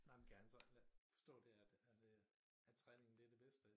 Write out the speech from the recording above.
Nej men kan han så forstå det at at øh at træningen det det bedste